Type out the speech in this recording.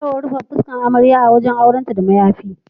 Ana yawan rufe fuskan amarya a ranan auren da mayafi.